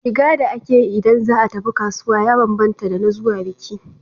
Shiga da ake yi ida za a tafi kasuwa ya bambanta da na zuwa biki.